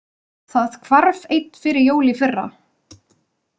Það hvarf einn fyrir jól í fyrra.